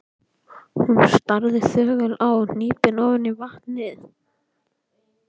Hún starði þögul og hnípin ofan í vatnið.